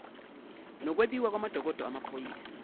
nokwebiwa kwamadokodo amaphoyisa